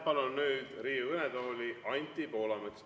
Palun nüüd Riigikogu kõnetooli Anti Poolametsa.